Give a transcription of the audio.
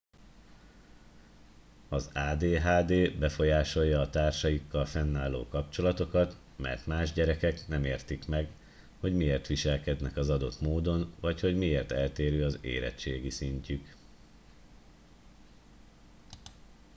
az adhd befolyásolja a társaikkal fennálló kapcsolatokat mert más gyermekek nem értik meg hogy miért viselkednek az adott módon vagy hogy miért eltérő az érettségi szintjük